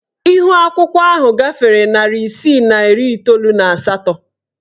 Ihuakwụkwọ ahụ gafere narị isii na iri iteolu na asatọ.